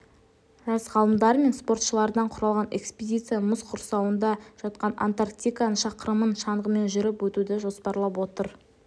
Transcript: жас ғалымдар мен спортшылардан құралған экспедиция мұз құрсауында жатқан антарктиканың шақырымын шаңғымен жүріп өтуді жоспарлап отыр